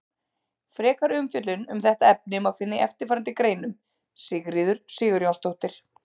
Frekari umfjöllun um þetta efni má finna í eftirfarandi greinum: Sigríður Sigurjónsdóttir.